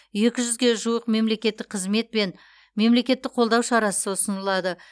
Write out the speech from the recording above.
екі жүзге жуық мемлекеттік қызмет пен мемлекеттік қолдау шарасы ұсынылады